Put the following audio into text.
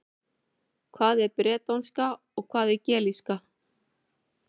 Hvað er bretónska og hvað er gelíska?